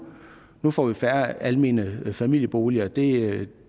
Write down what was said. nu får vi færre almene familieboliger det